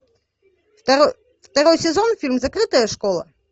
второй сезон фильм закрытая школа